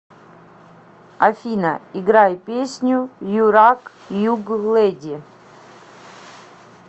афина играй песню юрак юглэди